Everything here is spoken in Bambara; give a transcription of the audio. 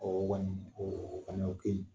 o kɔni o fana o kaɲi.